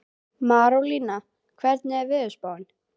Marólína, hvernig er veðurspáin?